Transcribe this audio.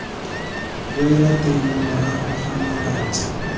boela teng morago ga malatsi